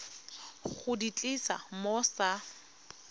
go di tlisa mo sa